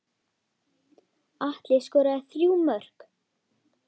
Atli skoraði þrjú mörk.